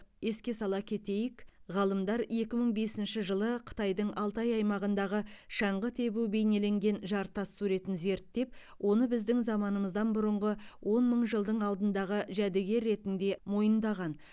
еске сала кетейік ғалымдар екі мың бесінші жылы қытайдың алтай аймағындағы шаңғы тебу бейнеленген жартас суретін зерттеп оны біздің заманымыздан бұрынғы он мың жылдың алдындағы жәдігер ретінде мойындаған